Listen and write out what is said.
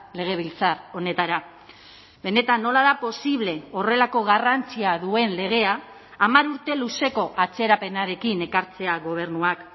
legebiltzar honetara benetan nola da posible horrelako garrantzia duen legea hamar urte luzeko atzerapenarekin ekartzea gobernuak